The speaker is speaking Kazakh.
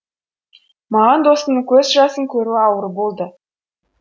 маған досымның көз жасын көру ауыр болды